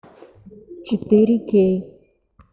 четыре кей